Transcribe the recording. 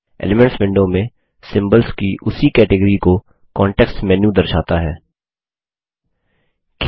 elements window में symbols की उसी कैटगॉरी को कांटेक्स्ट मेनू कान्टेक्स्ट मैन्यू दर्शाता है